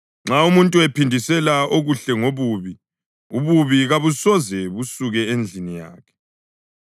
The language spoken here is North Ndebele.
Nxa umuntu ephindisela okuhle ngobubi, ububi kabusoze basuka endlini yakhe.